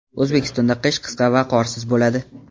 O‘zbekistonda qish qisqa va qorsiz bo‘ladi.